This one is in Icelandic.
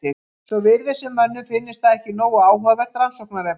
Svo virðist sem mönnum finnist það ekki nógu áhugavert rannsóknarefni.